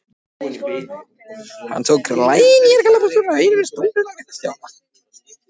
Hann tók glænýjar gallabuxur af einum stólnum og rétti Stjána.